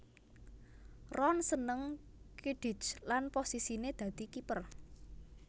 Ron seneng Quidditch lan posisiné dadi kiper